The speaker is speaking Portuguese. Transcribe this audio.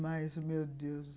Mas, meu Deus!